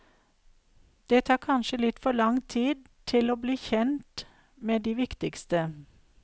Det tar kanskje litt for lang tid til å bli kjent med de viktigste.